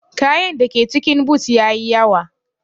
kayan dake cikin boot yayi yawa.